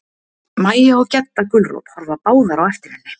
Mæja og Gedda gulrót horfa báðar á eftir henni.